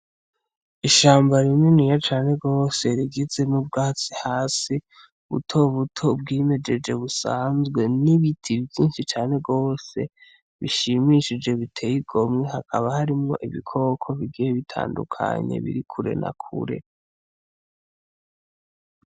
Ishamba rininiya cane gose rigize n'ubgatsi hasi buto buto bgimejeje busanzwe n'ibiti vyinshi cane gose bishimishije biteye igomwe hakaba harimwo ibikoko bigiye bitandukanye biri kure na kure.